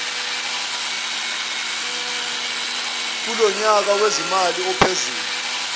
kulonyaka wezimali ophezulu